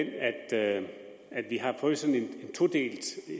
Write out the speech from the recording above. er den at vi har fået sådan en todelt